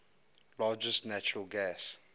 largest natural gas